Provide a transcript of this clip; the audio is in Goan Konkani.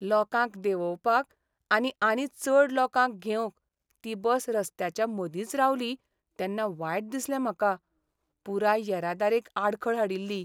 लोकांक देंवोवपाक आनी आनी चड लोकांक घेवंक ती बस रस्त्याच्या मदींच रावली तेन्ना वायट दिसलें म्हाका. पुराय येरादारेक आडखळ हाडिल्ली.